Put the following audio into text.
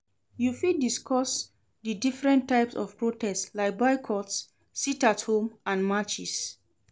You fit discuss di different types of protest, like boycotts, sit-at-home and marches.